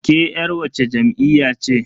Ke yar wacce jam'iyya ce?